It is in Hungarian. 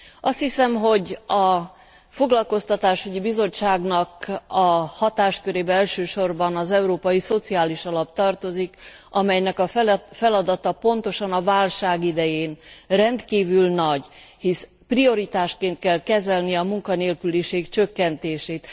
Azt hiszem, hogy a Foglalkoztatásügyi Bizottságnak a hatáskörébe elsősorban az Európai Szociális Alap tartozik, amelynek a feladata pontosan a válság idején rendkívül nagy, hisz prioritásként kell kezelni a munkanélküliség csökkentését.